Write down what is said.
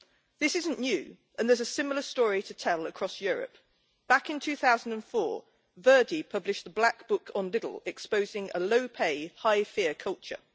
This isn't new and there is a similar story to tell across Europe. Back in 2004, Verdi published its Black Book on Lidl', exposing a low-pay, high-fear culture.